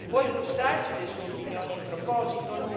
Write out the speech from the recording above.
Può illustrarci le sue opinioni in proposito?